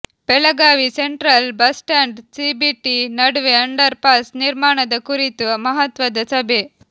Belagavi central bus stand CBT ನಡುವೆ ಅಂಡರ್ ಪಾಸ್ ನಿರ್ಮಾಣದ ಕುರಿತು ಮಹತ್ವದ ಸಭೆ